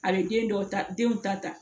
A bɛ den dɔw ta denw ta ta